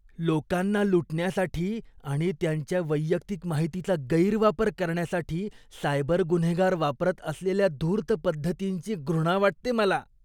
लोकांना लुटण्यासाठी आणि त्यांच्या वैयक्तिक माहितीचा गैरवापर करण्यासाठी सायबर गुन्हेगार वापरत असलेल्या धूर्त पद्धतींची घृणा वाटते मला.